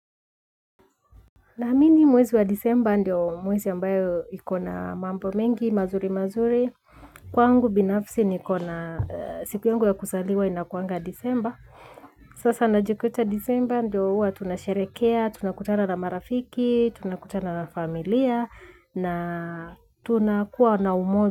Na mimi mwezi wa disemba ndio mwezi ambayo iko na mambo mengi, mazuri mazuri. Kwangu binafsi niko na siku yangu ya kuzaliwa inakuanga disemba. Sasa najikuta disemba ndio huwa tunasherekea, tunakutana na marafiki, tunakutana na familia na tunakuwa na umoja.